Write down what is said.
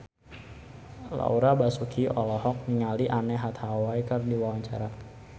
Laura Basuki olohok ningali Anne Hathaway keur diwawancara